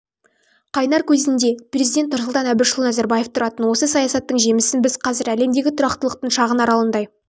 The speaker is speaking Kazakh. қайнар көзінде президент нұрсұлтан әбішұлы назарбаев тұратын осы саясаттың жемісін біз қазір әлемдегі тұрақтылықтың шағын аралындай